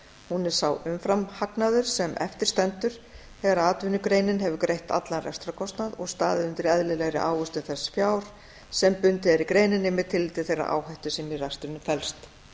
hún er sá umfram hagnaður sem eftir stendur þegar atvinnugreinin hefur greitt allan rekstrarkostnað og staðið undir eðlilegri ávöxtun þess fjár sem bundið er í greininni með tilliti til þeirrar áhættu sem í rekstrinum felst